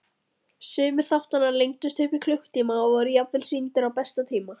Sumir þáttanna lengdust upp í klukkutíma og voru jafnvel sýndir á besta tíma.